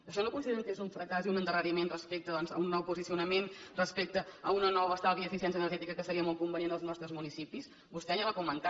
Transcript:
això no consideren que és un fracàs i un endarreriment respecte doncs a un nou posicionament respecte a un nou estalvi i eficiència energètica que seria molt convenient en els nostres municipis vostè ni ho ha comentat